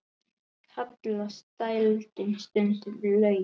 Kallast dældin stundum laut.